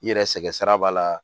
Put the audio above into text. I yɛrɛ sɛgɛn sira b'a la